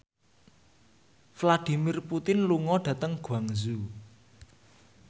Vladimir Putin lunga dhateng Guangzhou